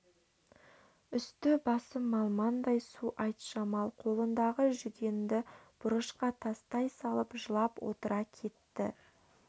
үсті-басы малмандай су айтжамал қолындағы жүгенді бұрышқа тастай салып жылап отыра кетті